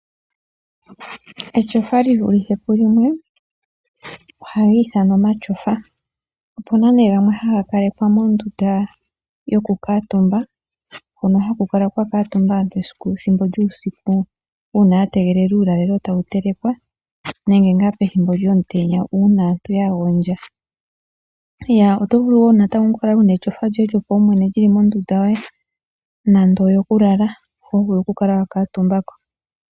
Etyofa li vulithè pulimweohali ithanwa omatyofa. Opuna gmwe ngoka haga kalekwa mondunda yoku kuutumba hono haku kala kwa kuutumba aantu uuna ya tegelela uulalo nenge ya gondja. Oto vulu oku kala wuna lyoye lyopaumwene lyili nande omondunda yokulala ho ho vulu oku kala wa kuutumba ko.